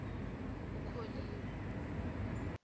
ukholiwe